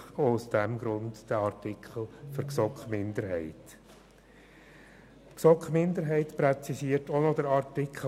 Auch aus diesem Grund erübrigt sich für die GSoK-Minderheit I dieser Artikel.